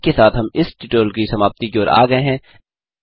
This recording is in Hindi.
इसी के साथ हम इस ट्यूटोरियल की समाप्ति की ओर आ गये हैं